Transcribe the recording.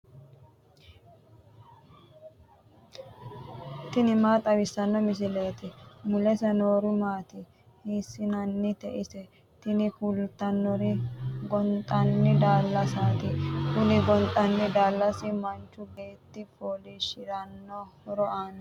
tini maa xawissanno misileeti ? mulese noori maati ? hiissinannite ise ? tini kultannori gonxanni daallasaati. kuni gonxanni daallasi manchu beetti fooliishirate horo aannoho.